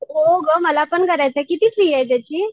हो ग मलापण करायचाय, किती फी ये त्याची?